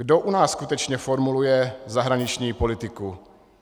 Kdo u nás skutečně formuluje zahraniční politiku?